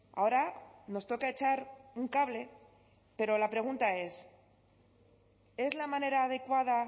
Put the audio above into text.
ahora nos toca echar un cable pero la pregunta es es la manera adecuada